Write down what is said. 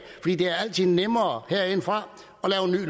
det er altid nemmere herindefra